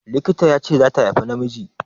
Likita ya ce zata haifa namiji.